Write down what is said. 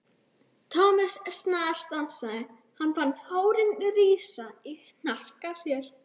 Thomas snarstansaði, hann fann hárin rísa í hnakka sér.